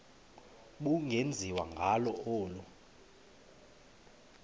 ubungenziwa ngalo olu